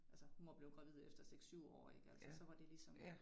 Altså hun var blevet gravid efter 6 7 år ik altså så var det ligesom